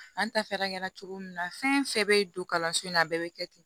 An ta fɛɛrɛ kɛra cogo min na fɛn fɛn bɛ don kalanso in na a bɛɛ bɛ kɛ ten